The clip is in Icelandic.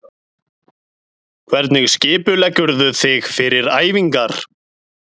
Hvernig skipuleggurðu þig fyrir æfingar?